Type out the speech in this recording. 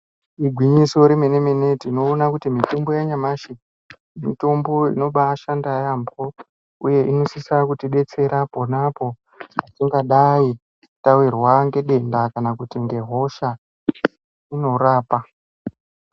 Igwinyiso remene mene tinoona kuti mitombo yanyamashi mitombo inobashanda yambo uye inosisa kutidetsera ponapo patingadai tawirwa nedenda kana kuti nehosha inorapa.